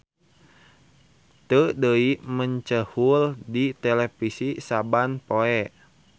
Teu deui mecenghul di televisi saban poe.